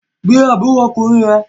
Gbé àbúrò ọkùnrin rẹ